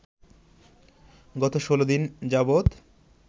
গত ১৬ দিন যাবত